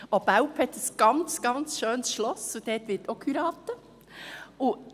Auch Belp hat ein ganz, ganz schönes Schloss, und dort wird auch geheiratet.